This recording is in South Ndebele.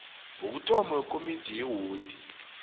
wokuthoma wekomidi yewodi